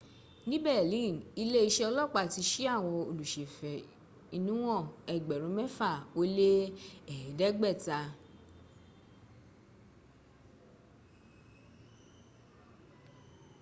ní berlin iléeṣẹ́ ọlọ́pàá ti ṣí àwọn olùsèfẹ̀inúhàn ẹgbẹ̀rún mẹ́fà ó lé ẹ̀ẹ́dẹ́gbẹ̀ta